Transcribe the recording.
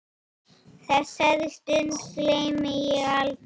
Þessari stund gleymi ég aldrei.